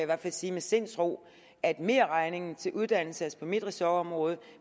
hvert fald sige med sindsro at merregningen til uddannelse altså på mit ressortområde